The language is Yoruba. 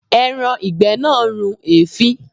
Ẹran ìgbẹ́ náà run èéfín.